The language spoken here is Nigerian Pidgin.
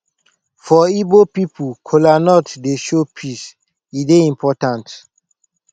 for igbo pipo kolanut dey show peace e dey important